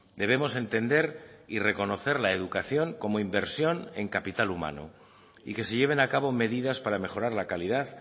debemos entender y reconocer la educación como inversión en capital humano y que se lleven a cabo medidas para mejorar la calidad